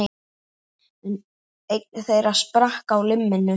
Einn þeirra sprakk á limminu